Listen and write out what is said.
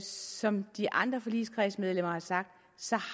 som de andre forligskredsmedlemmer har sagt så